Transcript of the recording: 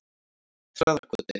Traðarkoti